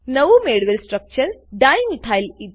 નવું મેળવેલ structure dimethyl ether